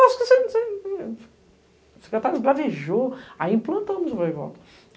O secretário esbravejou, aí implantamos o Vai-Volta.